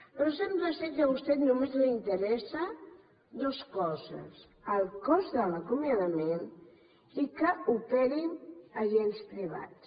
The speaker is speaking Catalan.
però sembla que a vostè només li interessen dues coses el cost de l’acomiadament i que operin agents privats